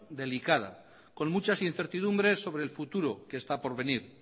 delicada con muchas incertidumbres sobre el futuro que está por venir